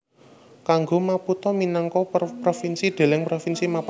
Kanggo Maputo minangka provinsi deleng Provinsi Maputo